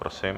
Prosím.